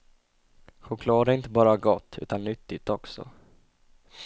Choklad är inte bara gott, utan nyttigt också.